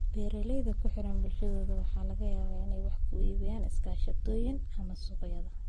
Beeralayda ku xidhan bulshadooda waxa laga yaabaa inay wax ku iibiyaan iskaashatooyin ama suuqyo.